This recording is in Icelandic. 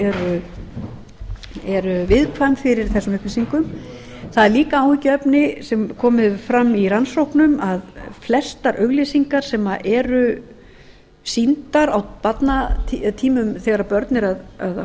þau eru viðkvæm fyrir þessum upplýsingum það er líka áhyggjuefni sem komið hefur fram í rannsóknum að flestar auglýsingar sem eru sýndar oft þegar börn eru að